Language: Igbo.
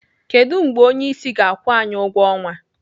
Kedụ mgbe onyeisi ga-akwụ anyị ụgwọ ọnwa?